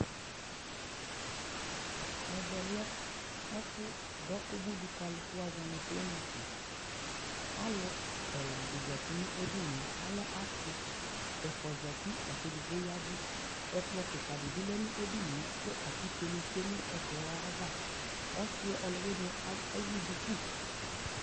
ɛvɛ lɛ dɔ ʋbʋi dʋ ka alu kʋwazɔnʋ clinic, alʋ ɛla di zati nʋɛdiniɛ, alɛ asii, ɛƒʋa zatilakʋ ɛdigbɔ yavʋ, ɛkplɔ kikaa dibi lɛnʋ ɛdiniɛ kʋ atikè dibi twɛ nʋ ɛkplɔɛ aɣa, ɔsii ɔlʋwiniɛ ɛwʋ dʋkʋ